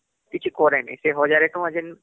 କିଛି କରେ ନାଇଁସେ ୧୦୦୦ ଟଙ୍କା ଯେନ